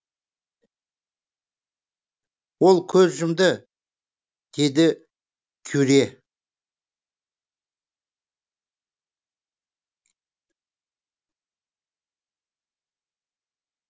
ол көз жұмды деді кюре